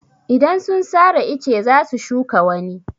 Idan sun sare ice za su shuka wani.